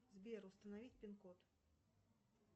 сбер установить пин код